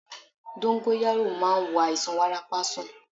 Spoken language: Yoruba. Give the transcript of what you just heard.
Dóngóyárò máa ń wo àìsàn wárápá sàn